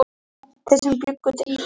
Hvar sé ég mig eftir fimm ár?